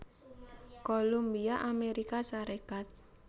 Columbia Amerika sarekat